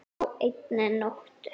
Á einni nóttu!